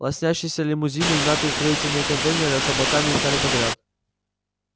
лоснящиеся лимузины и мятые строительные контейнеры с облаками стояли подряд